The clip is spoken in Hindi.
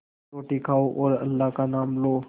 रोटी खाओ और अल्लाह का नाम लो